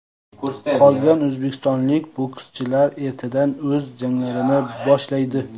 Qolgan o‘zbekistonlik bokschilar ertadan o‘z janglarini boshlaydi .